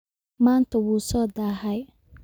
Maanta wuu soo daahay